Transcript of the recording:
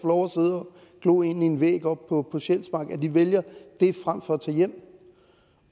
og glo ind i en væg oppe på sjælsmark vælger det frem for at tage hjem